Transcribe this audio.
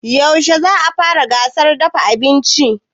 Yaushe za a fara gasar dafa abinci?